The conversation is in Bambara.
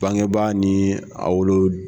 Bangebaa ni a wolo